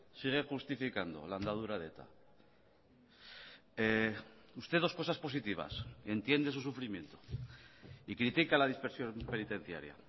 sigue justificando la andadura de eta usted dos cosas positivas entiende su sufrimiento y critica la dispersión penitenciaria